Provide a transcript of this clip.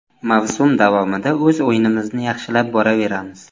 Mavsum davomida o‘z o‘yinimizni yaxshilab boraveramiz.